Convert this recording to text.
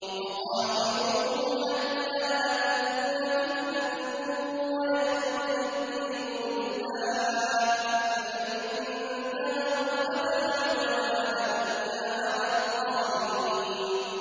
وَقَاتِلُوهُمْ حَتَّىٰ لَا تَكُونَ فِتْنَةٌ وَيَكُونَ الدِّينُ لِلَّهِ ۖ فَإِنِ انتَهَوْا فَلَا عُدْوَانَ إِلَّا عَلَى الظَّالِمِينَ